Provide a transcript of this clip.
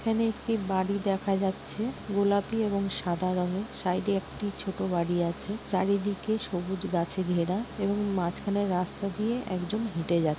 এখানে একটি বাড়ি দেখা যাচ্ছে। গোলাপি এবং সাদা রঙের। সাইড -এ একটি ছোট বাড়ি আছে চারিদিকে সবুজ গাছে ঘেরা এবং মাঝখানে রাস্তা দিয়ে একজন হেঁটে যা--